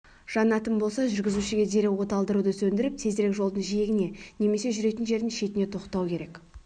жанатын болса жүргізушіге дереу оталдыруды сөндіріп тезірек жолдың жиегіне немесе жүретін жердің шетіне тоқтау керек